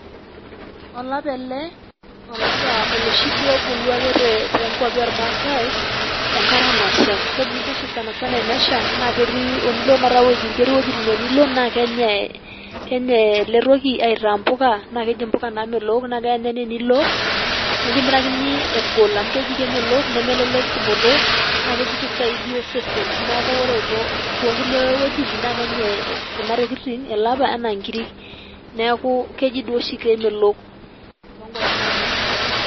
olapa ele olapa oloshi duo obulu ake too kwapi oormaasae enkata nasha. kebulu duo oshi sanasana tenesha na telo ketii wuejitin naa tenilo naa kenyae kenyae ele toki aitaa mpuka .naa keji mpuka naamelok na keya ninye tenilo nikimirakini egol amu keji kemelok nemelelek tumoto na keji kisaidia osesen niaku ore toonkulie wuejitin na kenyae kuna tokitin ele apa anaa nkirik niaku keji duo oshi kemelok too kwapi naanyae.